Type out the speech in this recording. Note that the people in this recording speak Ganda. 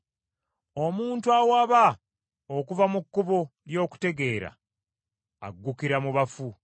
Omuntu awaba okuva mu kkubo ly’okutegeera, agukira mu bafu.